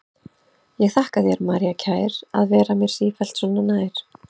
Ég þakka þér, María kær, að vera mér sífellt svo nær.